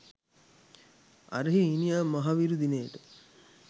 අරහේ ඊනියා මහවිරු දිනයට